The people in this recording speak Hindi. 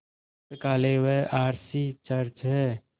पुस्तकालय व आर सी चर्च हैं